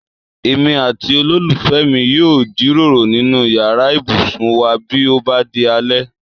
Èmi àti olólùfẹ́ mi yóò jíròrò nínú yàrá ibùsùn wá bí ó bá di alẹ́